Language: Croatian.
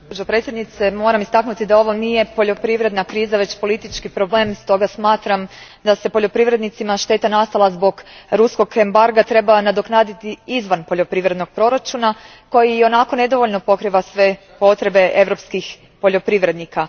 Gospođo predsjednice, moram istaknuti da ovo nije poljoprivredna kriza, već politički problem, stoga smatram da bi se poljoprivrednicima šteta nastala zbog ruskog embarga trebala nadoknaditi izvan poljoprivrednog proračuna koji ionako nedovoljno pokriva sve potrebe europskih poljoprivrednika.